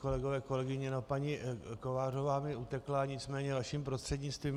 Kolegové, kolegové, paní Kovářová mi utekla, nicméně vaším prostřednictvím.